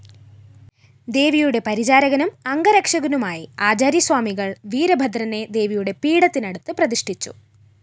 ദേവിയുടെ പരിചാരകനും അംഗരക്ഷകനുമായി ആചാര്യസ്വാമികള്‍ വീരഭദ്രനെ ദേവിയുടെ പീഠത്തിനടുത്തു പ്രതിഷ്ഠിച്ചു